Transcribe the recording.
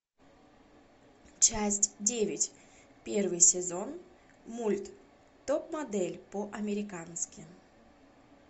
часть девять первый сезон мульт топ модель по американски